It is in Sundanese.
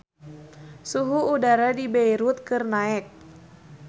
Suhu udara di Beirut keur naek